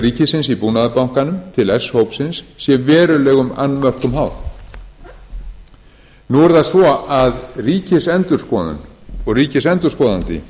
ríkisins í búnaðarbankanum til s hópsins sé verulegum annmörkum háð nú er það svo að ríkisendurskoðun og ríkisendurskoðandi